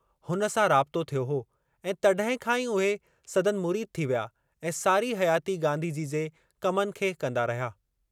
हुन सां राबितो थियो हो ऐं तॾहिं खां ई उहे संदनि मुरीद थी विया ऐं सारी हयाती गांधी जी जे कमनि खे कंदा रहिया।